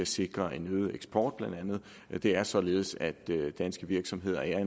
sikre en øget eksport det er således at de danske virksomheder er